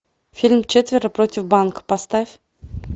фильм четверо против банка поставь